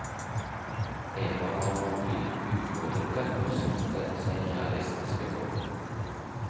Eva var rolig, ujålete og satte seg realistiske mål.